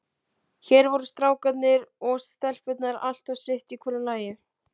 Hér voru strákarnir og stelpurnar alltaf sitt í hvoru lagi.